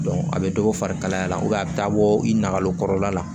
a bɛ dɔ fari kalaya a bɛ taa bɔ i nakalo kɔrɔla la